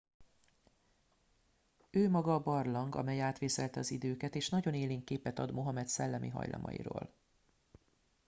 ő maga a barlang amely átvészelte az időket és nagyon élénk képet ad mohamed szellemi hajlamairól